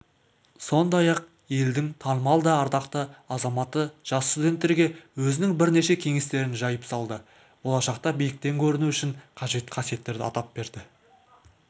сондай-ақ елдің танымал да ардақты азаматы жас студенттерге өзінің бірнеше кеңестерін жайып салды болашақта биіктен көріну үшін қажет қасиеттерді атап берді